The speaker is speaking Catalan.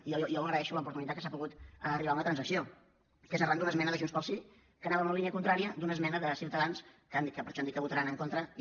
i jo agraeixo l’oportunitat que s’ha pogut arribar a una transacció que és arran d’una esmena de junts pel sí que anava en la línia contrària d’una esmena de ciutadans que per això han dit que hi votaran en contra i